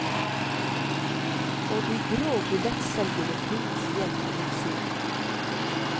Og de grå billettselgerne finnes igjen på utsiden.